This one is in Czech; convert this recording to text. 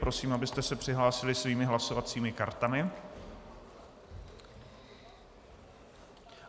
Prosím, abyste se přihlásili svými hlasovacími kartami.